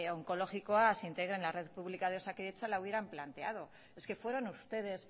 onkologikoa se integre en la red pública de osakidetza la hubieran planteado es que fueron ustedes